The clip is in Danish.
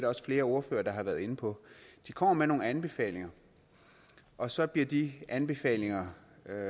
også flere ordførere der har været inde på de kommer med nogle anbefalinger og så bliver de anbefalinger